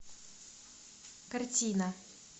картина